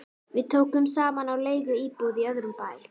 Við tókum saman á leigu íbúð í öðrum bæ